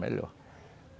Melhor.